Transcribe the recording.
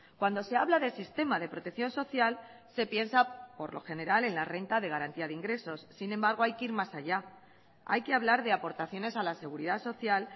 cuando se habla de sistema de protección social se piensa por lo general en la renta de garantía de ingresos sin embargo hay que ir más allá hay que hablar de aportaciones a la seguridad social